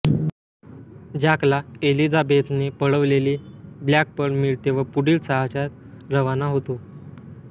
जॅकला एलिझाबेथने पळवलेली ब्लॅकपर्ल मिळते व पुढील साहसास् रवाना होतो